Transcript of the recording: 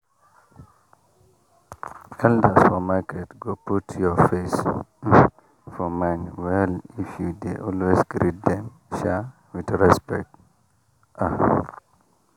elders for market go put your face um for mind well if you dey always greet them um with respect. um